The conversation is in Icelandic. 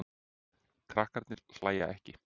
Krakkarnir hlæja ekki.